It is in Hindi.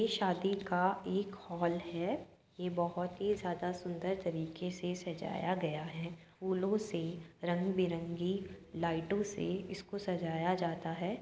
ये शादी का एक हॉल है। ये बोहोत ही ज्यादा सुंदर तरीके से सजाया गया है। फूलो से रंग बिरंगी लाइटों से इसको सजाया जाता है।